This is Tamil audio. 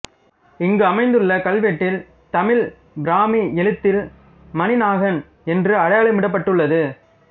இங்கு அமைந்துள்ள கல்வெட்டில் தமிழ்ப் பிராமி எழுத்தில் மணி நாகன் என்று அடையாளமிடப்பட்டுள்ளது